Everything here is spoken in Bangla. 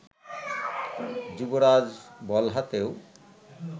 যুবরাজ বল হাতেও